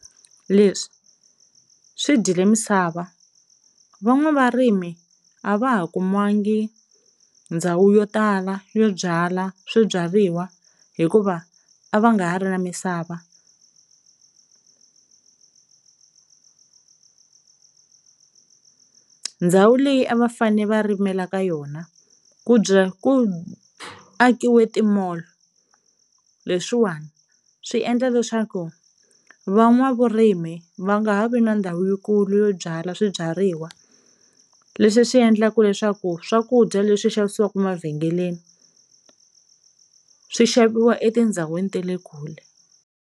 Leswi swi dyile misava van'wavarimi a va ha kumangi ndhawu yo tala yo byala swibyariwa hikuva a va nga ha ri na misava. Ndzhawu leyi a va fane va rimela ka yona ku ku akiwe ti-mall, leswiwani swi endla leswaku va n'wavurimi va nga ha vi na ndhawu yikulu yo byala swibyariwa leswi swi endlaku leswaku swakudya leswi xavisiwaku mavhengeleni swi xaviwa etindzhawini te le kule.